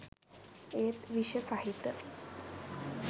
ඒත් විෂ සහිත